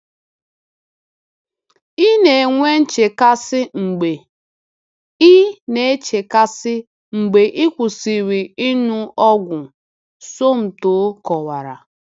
“Ị na-enwe nchekasị mgbe ị nchekasị mgbe ị kwụsịrị ịṅụ ọgwụ,” Somto kọwara.